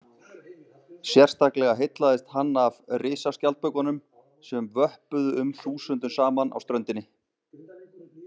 Sérstaklega heillaðist hann af risaskjaldbökunum sem vöppuðu um þúsundum saman á ströndinni.